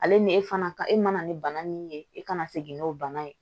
Ale ni e fana ka e mana ni bana min ye e kana segin n'o bana ye